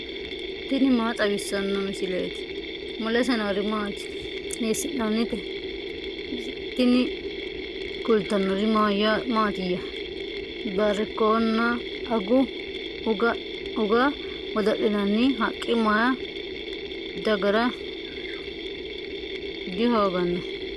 tini maa xawissanno misileeti ? mulese noori maati ? hiissinannite ise ? tini kultannori mattiya? barikkonna uge godo'linaanni haqqi may dagara dihooganno?